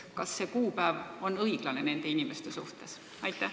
Kas see aastaarv on ikka õiglane?